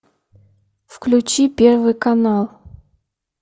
включи первый канал